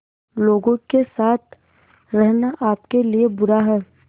लोगों के साथ रहना आपके लिए बुरा है